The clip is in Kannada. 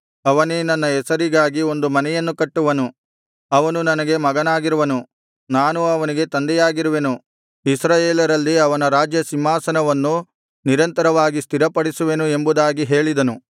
ಅವನೇ ನನ್ನ ಹೆಸರಿಗಾಗಿ ಒಂದು ಮನೆಯನ್ನು ಕಟ್ಟುವನು ಅವನು ನನಗೆ ಮಗನಾಗಿರುವನು ನಾನು ಅವನಿಗೆ ತಂದೆಯಾಗಿರುವೆನು ಇಸ್ರಾಯೇಲರಲ್ಲಿ ಅವನ ರಾಜ್ಯಸಿಂಹಾಸನವನ್ನು ನಿರಂತರವಾಗಿ ಸ್ಥಿರಪಡಿಸುವೆನು ಎಂಬುದಾಗಿ ಹೇಳಿದನು